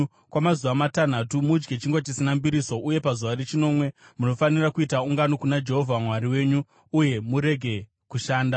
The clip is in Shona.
Kwamazuva matanhatu mudye chingwa chisina mbiriso uye pazuva rechinomwe munofanira kuita ungano kuna Jehovha Mwari wenyu uye murege kushanda.